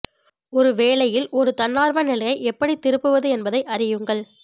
ஒரு வேலையில் ஒரு தன்னார்வ நிலையை எப்படி திருப்புவது என்பதை அறியுங்கள்